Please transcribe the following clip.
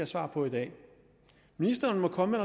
svar på i dag ministeren må komme